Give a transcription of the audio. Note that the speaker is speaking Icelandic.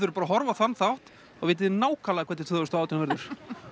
bara að horfa á þann þátt þá vitiði nákvæmlega hvernig tvö þúsund og átján verður